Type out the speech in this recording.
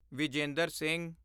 Vijender Singh